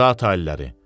Zatı aliləri.